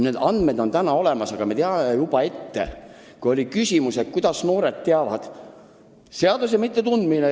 Need andmed on täna olemas ja siin oli küsimus, kuidas noored teavad, et nende andmeid töödeldakse.